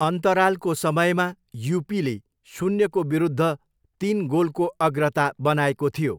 अन्तरालको समयमा युपीले शून्यको विरूद्ध तिन गोलको अग्रता बनाएको थियो।